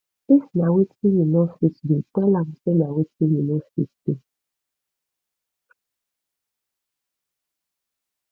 if na wetin you no fit do tell am say na wetin you no fit do